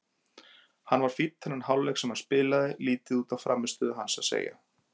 Hann var fínn þennan hálfleik sem hann spilaði, lítið út á hans frammistöðu að segja.